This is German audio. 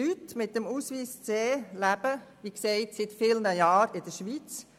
Leute mit einem C-Ausweis leben wie gesagt seit vielen Jahren in der Schweiz;